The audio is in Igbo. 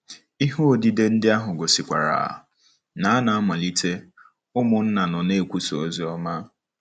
Ihe odide ndị ahụ gosikwara na ná mmalite, ụmụnna nọ na-ekwusa ozi ọma.